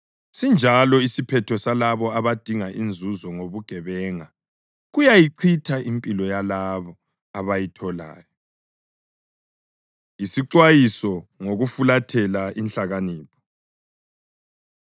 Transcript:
Sinjalo isiphetho salabo abadinga inzuzo ngobugebenga; kuyayichitha impilo yalabo abayitholayo. Isixwayiso Ngokufulathela Inhlakanipho